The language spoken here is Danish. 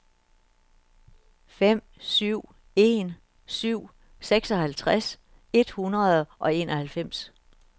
fem syv en syv seksoghalvtreds et hundrede og enoghalvfems